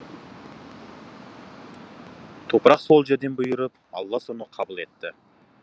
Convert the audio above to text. топырақ сол жерден бұйырып алла соны қабыл етті